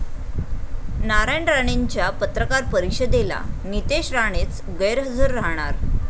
नारायण राणेंच्या पत्रकार परिषदेला नितेश राणेच गैरहजर राहणार!